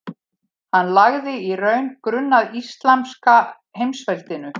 Hann lagði í raun grunn að íslamska heimsveldinu.